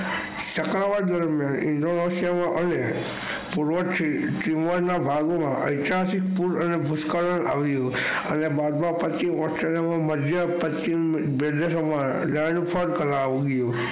ઐતિહાસિક પૂર અને ભવ્ય પશ્ચિમ માધ્ય માં પશ્ચિમ